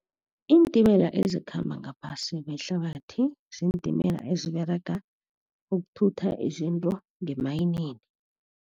Iintimela ezikhamba ngaphasi kwehlabathi ziintimela eziberega ukuthutha izinto ngemayinini.